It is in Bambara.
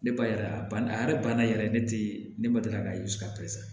Ne ba yala a banna a yɛrɛ banna yɛrɛ ne tɛ ne ma deli k'a